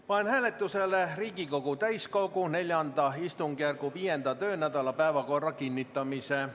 Panen hääletusele Riigikogu täiskogu IV istungjärgu 5. töönädala päevakorra kinnitamise.